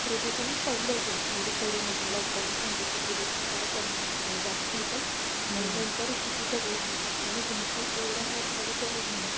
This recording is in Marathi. प्रदूषण पहिलं जे म्हणजे Corona च्या Lockdown च्या आधीच प्रदूषण फार कमी होतं जास्त होतं आणि नंतर किती कमी झालं भरपूर एवढा मात्राने कमी झालं